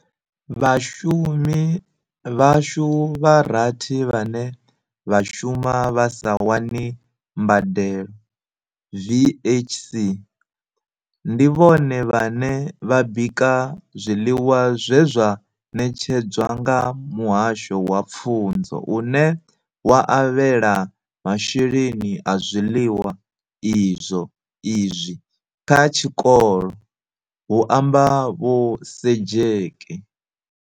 Vhashumi vhashu vha rathi vhane vha shuma vha sa wani mbadelo VHS, ndi vhone vhane vha bika zwiḽiwa zwe zwa ṋetshedzwa nga Muhasho wa Pfunzo une wa avhela masheleni a zwiḽiwa izwi kha tshikolo, hu amba Vho Sejake.